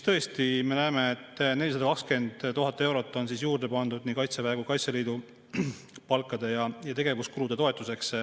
Tõesti, me näeme, et 420 000 eurot on juurde pandud nii Kaitseväe kui ka Kaitseliidu palkade ja tegevuskulude toetuseks.